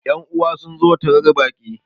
yan'uwa sun zo tarar Baki